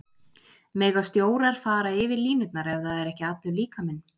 Mega stjórar fara yfir línurnar ef það er ekki allur líkaminn?